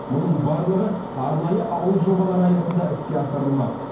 мұның барлығы арнайы ауыл жобалары аясында іске асырылмақ